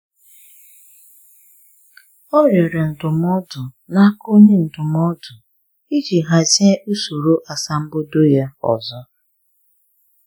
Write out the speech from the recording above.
Ọ rịọrọ ndụmọdụ na aka onye ndụmọdụ iji hazie usoro asambodo ya ọzọ